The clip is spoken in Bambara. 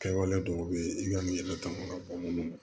Kɛwale dɔw bɛ yen i ka yɛlɛ ta ma ka bɔ minnu ma